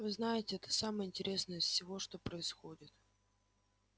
вы знаете это самое интересное из всего что происходит